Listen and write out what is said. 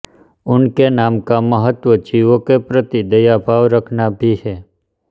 उनके नाम का महत्व जीवों के प्रति दया भाव रखना भी है